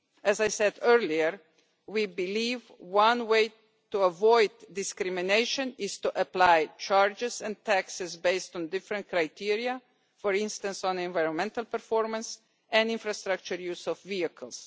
As I said earlier, we believe that one way to avoid discrimination is to apply charges and taxes based on different criteria, for instance on environmental performance and the infrastructure use of vehicles.